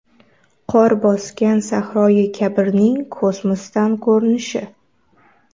Qor bosgan Sahroi Kabirning kosmosdan ko‘rinishi.